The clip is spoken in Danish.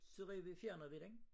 Så ville vi fjerne vi den